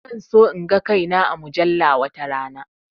Zan so in ga kai na a mujalla watarana